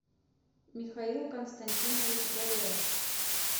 михаил константинович горелов